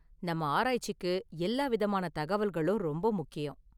நம்ம ஆராய்ச்சிக்கு எல்லா விதமான தகவல்களும் ரொம்ப முக்கியம்.